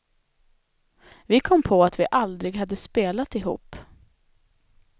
Vi kom på att vi aldrig hade spelat ihop.